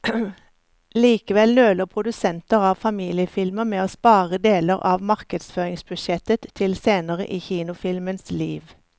Likevel nøler produsenter av familiefilmer med å spare deler av markedsføringsbudsjettet til senere i kinofilmens liv.